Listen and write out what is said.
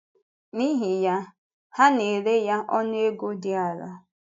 N’ihi yá, ha na-ere ya ọnụ ego dị ala.